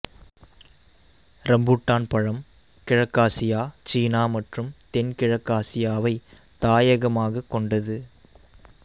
rambutan பழம் கிழக்காசியா சீனா மற்றும் தென்கிழக்காசியாவை தாயகமாகக் கொண்டது